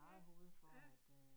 Ja, ja